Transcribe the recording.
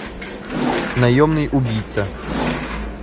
наемный убийца